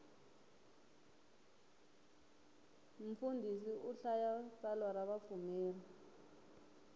mfundhisi u hlaya tsalwa ra vapfumeri